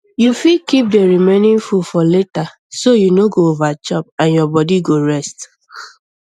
you fit keep the remaining food for later so you no go overchop and your body go rest